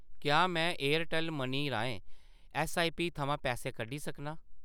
क्या मैं Airtel money राहें ऐस्सआईपी थमां पैसे कड्ढी सकनां ?